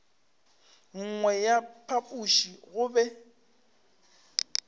nngwe ya phapoši go be